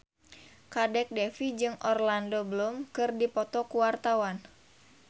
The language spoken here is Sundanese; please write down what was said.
Kadek Devi jeung Orlando Bloom keur dipoto ku wartawan